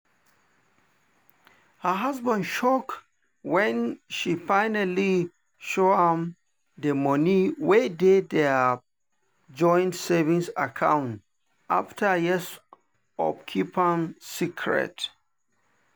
her husband shock when she finally show am the money wey dey their joint savings account after years of keeping am secret.